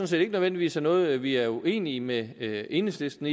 set ikke nødvendigvis er noget vi er uenige med enhedslisten